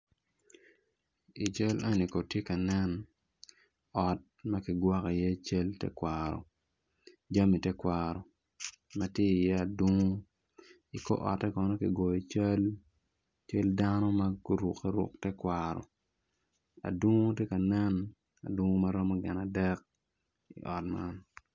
I cal eni kono tye ka nen ot ma kigwoko iye cal tekwaro jami tekwaro ma tye iye adungu i kor otte kono ki goyo cal dano ma gurukeruk tekwaro dungu tye ka nenadungu ma romo gin adek i ot man.